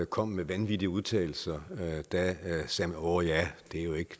kom med vanvittige udtalelser sagde man åh ja